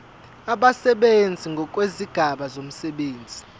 abasebenzi ngokwezigaba zomsebenzi